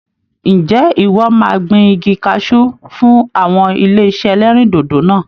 Ǹjẹ́ ìwọ máa gbìn igi cashew fun awọn ilé-isé ẹlẹ́rìndòdò náà?